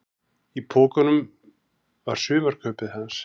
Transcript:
Í pokunum var sumarkaupið hans.